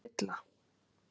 Silla